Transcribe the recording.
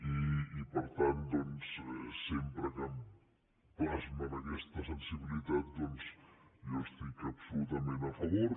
i per tant doncs sempre que plasmen aquesta sensibilitat jo hi estic absolutament a favor